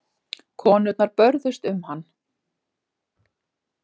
Konurnar börðust um hann.